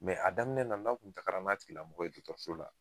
a daminɛ na n'aw tun taara n'a tigilamɔgɔ dɔgɔtɔrɔso la